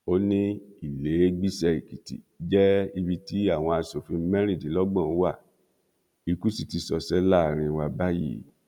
ó ní ìlèégbiṣẹ èkìtì jẹ ibi tí àwa asòfin mẹrìndínlọgbọn wa ikú sì ti ṣọṣẹ láàrin wa báyìí